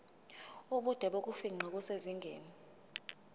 ubude bokufingqa kusezingeni